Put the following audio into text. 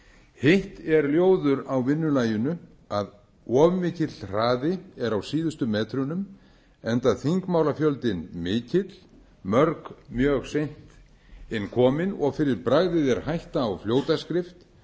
hitt er ljóður á vinnulaginu að of mikill hraði er á síðustu metrunum enda þingmálafjöldinn mikill mörg mjög seint inn komin og fyrir bragðið er hætta á fljótaskrift